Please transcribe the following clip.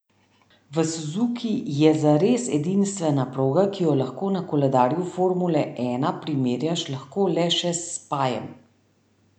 V Suzuki je zares edinstvena proga, ki jo lahko na koledarju formule ena primerjaš lahko le še s Spajem.